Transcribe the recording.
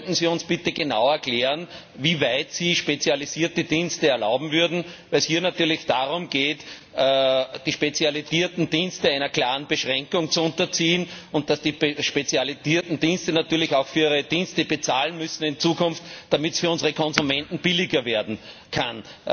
Könnten Sie uns bitte genau erklären, wie weit Sie spezialisierte Dienste erlauben würden? Denn hier geht es natürlich darum, die spezialisierten Dienste einer klaren Beschränkung zu unterziehen, und dass die spezialisierten Dienste in Zukunft auch für ihre Dienste bezahlen müssen, damit es für unsere Konsumenten billiger werden kann.